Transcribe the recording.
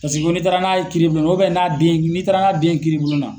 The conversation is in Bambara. Paseke ko ni taara n'a ye kiribulon n'a den ,ni taara n'a den ye kiribulon na